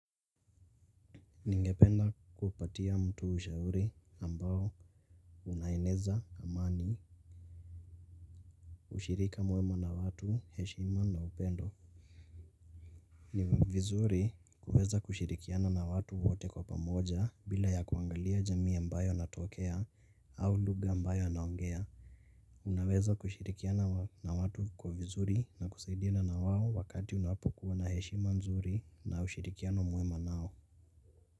Ningependa kupatia mtu ushauri ambao unaeneza amani ushirika mwema na watu heshima na upendo. Ni vizuri kuweza kushirikiana na watu wote kwa pamoja bila ya kuangalia jamii ambayo natokea au lugha ambayo naongea. Unaweza kushirikiana na watu kwa vizuri na kusaidina na wao wakati unapokuwa na heshima nzuri na ushirikiano mwema nao.